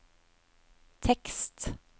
tekst